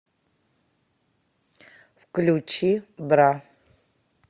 включи бра